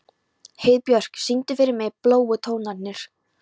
Heiðbjörk, syngdu fyrir mig „Bláu tónarnir“.